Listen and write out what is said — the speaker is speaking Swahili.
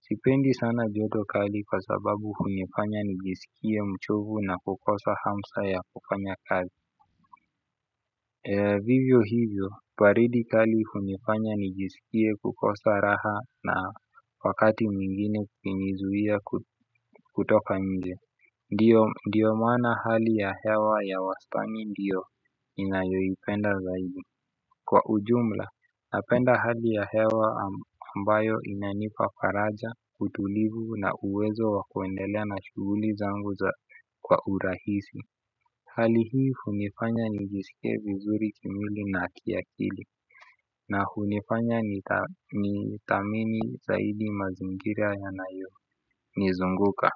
Sipendi sana joto kali kwa sababu hunifanya nijisikie mchovu na kukosa hamsa ya kufanya kazi. Vivyo hivyo, baridi kali hunifanya nijisikie kukosa raha na wakati mwingine kunizuia kutoka nje. Ndio maana hali ya hewa ya wastani ndio ninayoipenda zaidi. Kwa ujumla, napenda hali ya hewa ambayo inanipa faraja, utulivu na uwezo wa kuendelea na shughuli zangu kwa urahisi. Hali hii hunifanya nijisikie vizuri kimwili na kiakili na hunifanya nithamini zaidi mazingira yanayonizunguka.